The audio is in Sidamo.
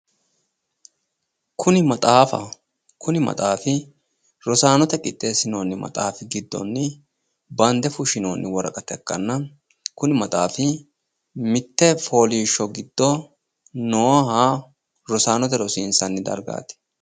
kuni maxaafaho kuni maxaafi rosaanote qixxeessinoonni maxaafi giddonni bande fushshinoonni woraqata ikkanna mitte fooliishsho giddo nooha rosaanote rosiinsanni dargaati.